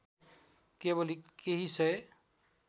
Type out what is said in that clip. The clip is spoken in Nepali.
केवल केही सय